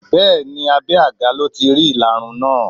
Bẹẹni abé àga lọ tí rí ìlarun náà.